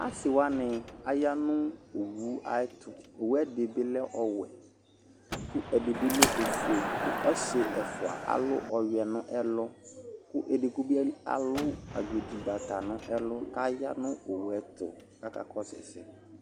Asɩwanɩ aya nʊ owu ayʊɛtʊ Owu ɛdɩbɩ lɛ ɔwɛ, kʊ ɛdɩbɩ lɛ ofoe, kʊ ɔsɩ ɛfwa alʊ ɔyɔɛ nʊ ɛlʊ Kʊ edigbo bɩ alʊ agbedigbata nʊ ɛlʊ kʊ aya nʊ owu ayʊɛtʊ kʊ akakɔsʊ ɛsɛ